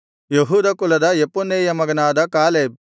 ಯೆಹೂದ ಕುಲದ ಯೆಫುನ್ನೆಯನ ಮಗನಾದ ಕಾಲೇಬ್